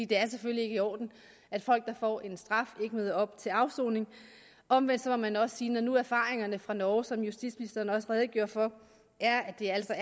det er selvfølgelig ikke i orden at folk der får en straf ikke møder op til afsoning omvendt må man også sige at når nu erfaringerne fra norge som justitsministeren også redegjorde for er at det altså